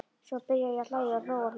Svo byrjaði ég að hlæja og hló og hló.